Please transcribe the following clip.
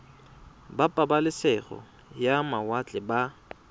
ba pabalesego ya mawatle ba